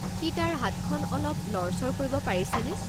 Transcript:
সি তাৰ হাতখন অলপ লৰচৰ কৰিব পাৰিছেনে?